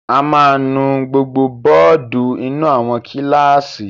A máa nu gbogbo bọ́ọ́dù inú àwọn kíláàsì.